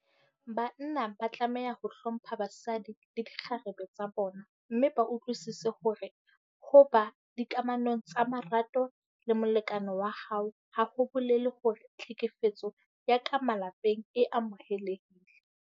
Banna ba tlameha ho hlompha basadi le dikgarebe tsa bona mme ba utlwisise hore ho ba dikamanong tsa marato le molekane wa hao ha ho bolele hore tlhekefetso ya ka malapeng e amohelehile.